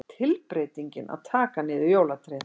Tilbreytingin að taka niður jólatréð.